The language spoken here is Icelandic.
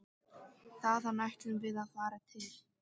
Þaðan ætluðum við að fara til